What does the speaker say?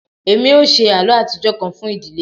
Emi o ṣe àlọ́ atijọ kan fun idile